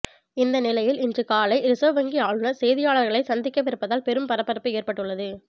இந்த நிலையில் இன்று காலை ரிசர்வ் வங்கி ஆளுனர் செய்தியாளர்களை சந்திக்கவிருப்பதால் பெரும் பரபரப்பு ஏற்பட்டுள்ளது